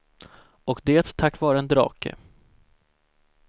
Och det tack vare en drake.